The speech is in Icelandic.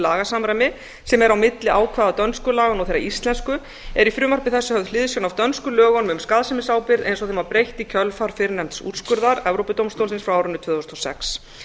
lagasamræmi sem er á milli ákvæða dönsku laganna og þeirra íslensku er í frumvarpi þessu höfð hliðsjón af dönsku lögunum um skaðsemisábyrgð eins og þeim var breytt í kjölfar fyrrnefnds úrskurðar evrópudómstólsins frá árinu tvö þúsund og sex